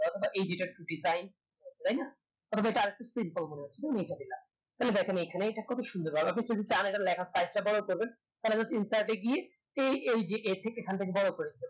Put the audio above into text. কখনো control তো কি চাই তাই না এটা একটু simple মনে হচ্ছে তাই না তাই এটা রেখে দিলাম তাহেল দেখেন এখানেই কি সুন্দর লাগছে অথচ লেখার type টা যদি বড়ো করবেন তাহলে insert এ গিয়ে এখন থেকে বড়ো করবেন।